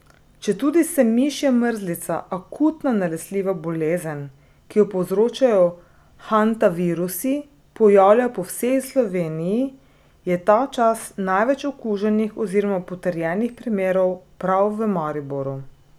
Četudi se mišja mrzlica, akutna nalezljiva bolezen, ki jo povzročajo hantavirusi, pojavlja po vsej Sloveniji, je tačas največ okuženih oziroma potrjenih primerov prav v Mariboru.